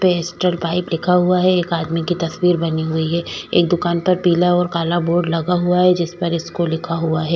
Astral pipe लिखा हुआ है एक आदमी की तस्वीर बनी हुई है एक दुकान पर पीला और काला बोर्ड लगा हुआ है जिसपर स्कूल लिखा हुआ है।